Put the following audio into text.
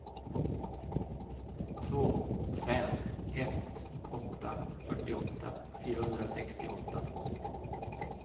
två fem ett åtta fyrtioåtta fyrahundrasextioåtta